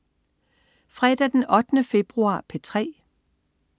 Fredag den 8. februar - P3: